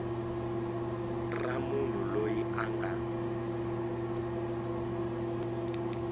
ra munhu loyi a nga